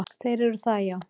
Þeir eru það, já.